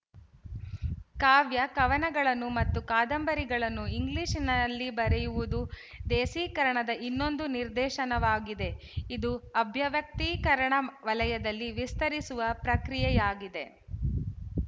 ಕಾವ್ಯ ಕವನಗಳನ್ನು ಮತ್ತು ಕಾದಂಬರಿಗಳನ್ನು ಇಂಗ್ಲಿಶಿನಲ್ಲಿ ಬರೆಯುವುದು ದೇಸೀಕರಣದ ಇನ್ನೊಂದು ನಿರ್ದೇಶನವಾಗಿದೆ ಇದು ಅಭಿವ್ಯಕ್ತೀಕರಣ ವಲಯದಲ್ಲಿ ವಿಸ್ತರಿಸುವ ಪ್ರಕ್ರಿಯೆಯಾಗಿದೆ